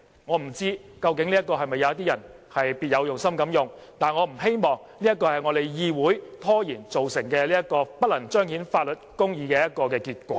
我不知道這是否有人別有用心要這樣做，但我不希望因為我們議會拖延而造成不能彰顯法律公義的結果。